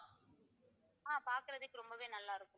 ஆஹ் பாக்குறதுக்கு ரொம்பவே நல்லாருக்கு~